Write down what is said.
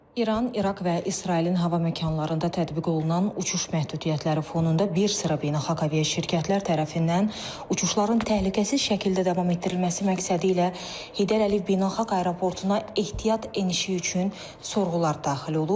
İran, İraq və İsrailin hava məkanlarında tətbiq olunan uçuş məhdudiyyətləri fonunda bir sıra beynəlxalq aviaşirkətlər tərəfindən uçuşların təhlükəsiz şəkildə davam etdirilməsi məqsədilə Heydər Əliyev Beynəlxalq Aeroportuna ehtiyat enişi üçün sorğular daxil olub.